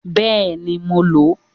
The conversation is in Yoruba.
Bẹ́ẹ̀ni, mo lò ó